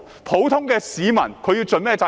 普通市民應該盡甚麼責任？